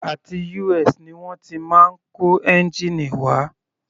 Àti US ni wọ́n ti máa ń kó ẹ́ngìnì wá.